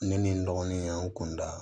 Ne ni n dɔgɔnin yan n kun da